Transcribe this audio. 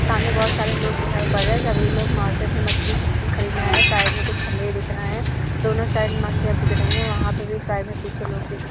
सामने बहुत सारे लोग दिखाइ पड़ रहे हैं सभी लोग मार्किट में मछली खच खरीदने आये हैं। साइड में कुछ खंभे दिख रहे हैं दोनों साईड में मछलियां बिक रहीं हैं वहाँ पे भी साईड में पीछे लोग दिख रहे हैं।